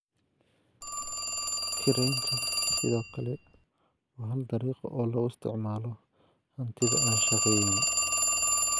Kiraynta sidoo kale waa hal dariiqo oo lagu isticmaalo hantida aan shaqayn.